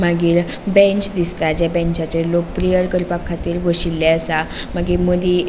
मागिर बेंच दिसता ज्या बेचाचेर लोक प्रैअर करपाखातीर बोशीले आसा मागिर मदी --